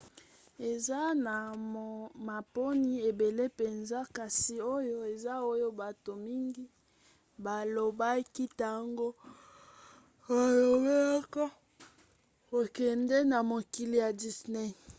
eza na maponi ebele mpenza kasi oyo eza oyo bato mingi balobaki ntango balobelaka kokende na mokili ya disney